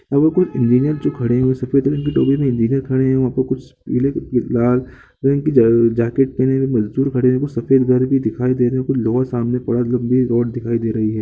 यहां पर कुछ इंजीनियर जो खड़े हुए हैं सफेद रंग के टोपी में जो इंजिनीयर ख़ड़े हैं वो कुछ पीले और लाल रंग के जैकेट पहने मजदूर भी दिखाई दे रहे हैं जो की सफेद घर लोहा सामने दिखाई दे रहे हैं ।